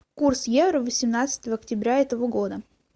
курс евро восемнадцатого октября этого года